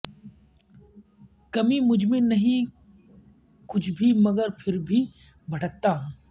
کمی مجھ میں نہیں کچھ بھی مگر پھر بھی بھٹکتا ہوں